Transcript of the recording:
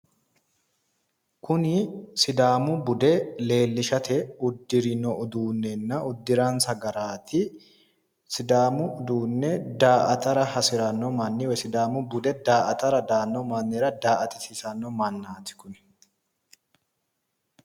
Kuni sidaamu bude leelishara udurino garati, kuri sidaamu bude la"ara hasiranoha leelishara daa"atisiisara udirrino mannati